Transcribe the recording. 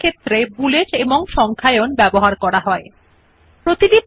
bullets and numbering are used when independent points have to be written